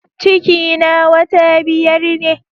Ciki na wata biyar ne